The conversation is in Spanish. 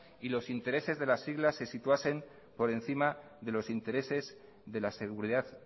y los intereses de las siglas se situasen por encima de los intereses de la seguridad